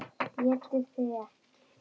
ÉTI ÞIG EKKI!